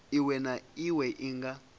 iwe na iwe i nga